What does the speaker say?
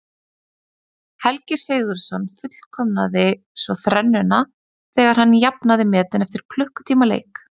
Helgi Sigurðsson fullkomnaði svo þrennuna þegar hann jafnaði metin eftir klukkutíma leik.